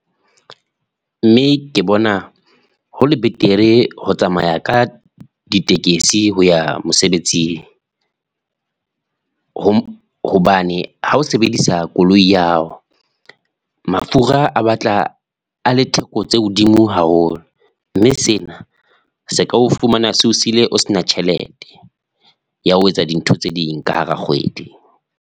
Mme ke bona hole betere ho tsamaya ka ditekesi ho ya mosebetsing, hobane ha o sebedisa koloi ya hao mafura a batla a le theko tse hodimo haholo, mme sena se ka o fumana seo sile o sena tjhelete, ya ho etsa dintho tse ding ka hara kgwedi.